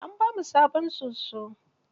An ba mu sabon soso.